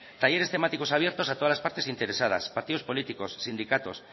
talleres temáticos abiertos a todas las partes interesadas partidos políticos sindicatos